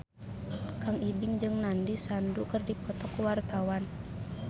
Kang Ibing jeung Nandish Sandhu keur dipoto ku wartawan